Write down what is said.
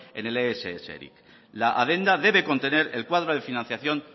en el ess eric la adenda debe contener el cuadro de financiación